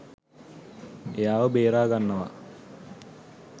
එයාව බේරාගන්නවා.